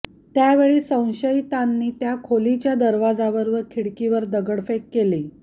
त्यावेळी संशयितानी त्या खोलीच्या दरवाजावर व खिडकीवर दगडफेक केली